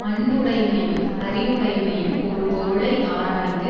அன்புடைமையும் அறிவுடைமையும் ஒருபொருளை ஆராய்ந்து